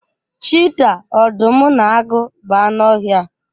Chiita, ọdụm na agụ bụ anụ ọhịa.